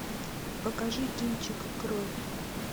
покажи кинчик кровь